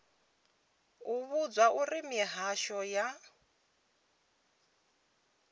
u vhudzwa uri mihasho ya